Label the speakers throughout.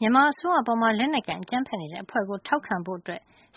Speaker 1: မြန်မာအစိုးရအပေါ် လက်နက်ကိုင် အကြမ်းဖက်နေတဲ့အဖွဲ့ကို ထောက်ခံဖို့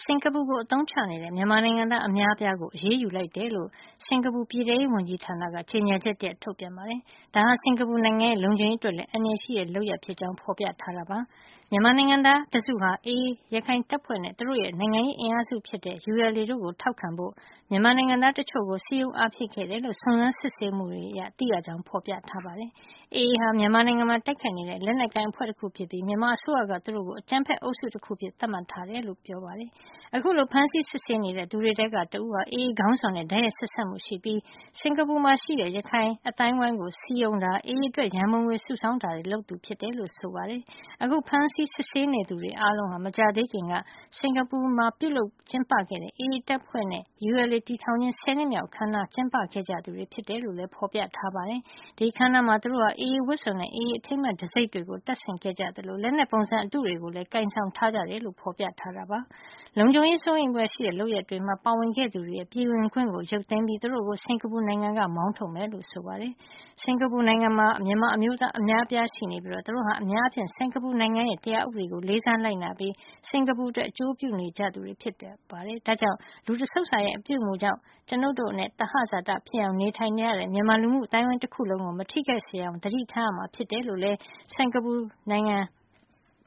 Speaker 1: စင်ကာပူကို အသုံးချနေတဲ့ မြန်မာနိုင်ငံသား အများအပြားကို အရေးယူလိုက်တယ်လို့ စင်ကာပူ ပြည်ထဲရေးဝန်ကြီး ဌာန ကြေညာချက်တရပ် ထုတ်ပြန်ပါတယ်။ ဒါဟာ စင်ကာပူနိုင်ငံရဲ့ လုံခြုံရေး အတွက်လည်း အန္တရာယ်ရှိတဲ့ လုပ်ရပ်ဖြစ်ကြောင်း ဖော်ပြထားပါတယ်။ မြန်မာနိုင်ငံသား တစုဟာ AA ရခိုင်တပ်မတော်နဲ့ သူတို့ရဲ့ နိုင်ငံရေး အင်အားစုဖြစ်တဲ့ ULA တို့ကို ထောက်ခံဖို့အတွက် မြန်မာနိုင်ငံသား တချို့ ကို စည်းရုံးအားဖြည့်ခဲ့တယ်လို့ စုံစမ်းစစ်ဆေးမှုတွေ အရ သိရှိရကြောင်း ဖော်ပြထားပါတယ်။ AA ဟာ မြန်မာနိုင်ငံမှာ တိုက်ခိုက်နေတဲ့ လက်နက်ကိုင်အဖွဲ့ တခု ဖြစ်ပြီး မြန်မာအစိုးရက သူတို့ကို အကြမ်းဖက် အုပ်စုတခုအဖြစ် သတ်မှတ် ထားတယ်လို့ ဆိုပါတယ်။ အခု ဖမ်းဆီးစစ်ဆေးနေတဲ့ သူတွေထဲက တဦးဟာ AA ခေါင်းဆောင်နဲ့ တိုက်ရိုက် ဆက်စပ်မှု ရှိနေပြီး စင်ကာပူမှာ ရှိနေတဲ့ ရခိုင်အသိုင်းအဝိုင်းကို စည်းရုံးခြင်း၊ AA အတွက် ရန်ပုံငွေ စုဆောင်းခြင်းတို့ကို လုပ်ဆောင်သူ ဖြစ်တယ်လို့ ဆိုပါတယ်။ အခု ဖမ်းဆီး စစ်ဆေးနေသူအားလုံးဟာ မကြာသေးမီက စင်ကာပူနိုင်ငံမှာ ပြုလုပ်ကျင်းပခဲ့တဲ့ AA တပ်ဖွဲ့ နဲ့ ULA တည်ထောင်ခြင်း (၁၀) နှစ်မြောက် အခမ်း အနားကို ကျင်းပခဲ့ကြသူတွေ ဖြစ်တယ်လို့လည်း ဖော်ပြထားပါတယ်။ အဲဒီအခမ်းအနားမှာ သူတို့ဟာ AA ဝတ်စုံနဲ့ AA အထိမ်းအမှတ် တံဆိပ် တွေကို တပ်ဆင်ခဲ့ကြတယ်၊ လက်နက်ပုံစံ အတုတွေကိုလည်း ကိုင်ဆောင်ထားကြတယ်လို့လည်း ဖော်ပြထားပါတယ်။ လုံခြုံရေး စိုးရိမ်ဖွယ်ရှိတဲ့ လုပ်ရပ်တွေမှာ ပါဝင်ခဲ့သူတွေရဲ့ပြည်ဝင်ခွင့်ကို ရုပ်သိမ်းပြီး သူတို့ကို စင်ကာပူနိုင်ငံက မောင်းထုတ်မယ်လို့ ဆိုပါတယ်။ စင်ကာပူနိုင်ငံမှာ မြန်မာအမျိုးသား အများအပြား ရှိနေပြီး သူတို့ဟာ အများအားဖြင့် စင်ကာပူနိုင်ငံရဲ့ တရားဥပဒေကို လေးစားလိုက်နာပြီး စင်ကာပူအတွက် အကျိုးပြုနေကြသူတွေ ဖြစ်ကြပါတယ်။ ဒါကြောင့် လူတဆုပ်စာရဲ့ အပြုအမူကြောင့် ကျွန်ုပ်တို့နဲ့ သဟဇာတဖြစ်အောင် နေထိုင်နေကြတဲ့ မြန်မာ လူမှုအသိုင်းအဝိုင်းတခုလုံးကို မထိခိုက်စေရအောင် သတိထားရမှာ ဖြစ်တယ်လို့လည်း စင်ကာပူနိုင်ငံ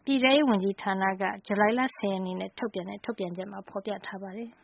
Speaker 1: ပြည်ထဲရေး ဌာနရဲ့ ဇူလိုင် ၁၀ ရက်နေ့ ထုတ်ပြန်ချက်မှာ ဖော်ပြထားပါတယ်။